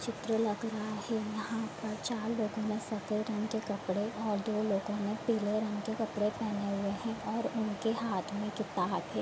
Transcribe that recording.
चित्र लग रहा है यहाँ चार लोगो ने सफ़ेद रंग के कपड़े और दो लोगो ने पीले रंग के कपड़े पहने हुए हैं और उनके हाथ में किताब हैं।